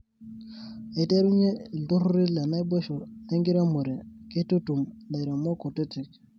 Aiterunye iltururi lenaboisho lenkiremore keitutum lairemok kutiti.